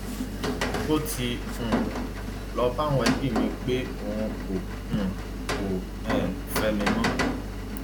ó ti um lọọ bá àwọn ẹbí mi pé òun kò um kò um fẹ mi mọ